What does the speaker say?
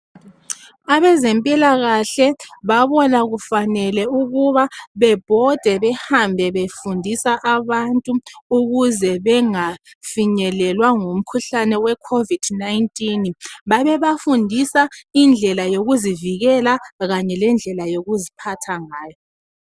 Abezempilakahle babona kufanele ukuba bebhode behambe befundisa abantu ukuze bengafinyelelwa ngumkhuhlane we COVID-19. Babebafundisa indlela yokuzivikela Kanye lendlela yokuziphatha ngayo.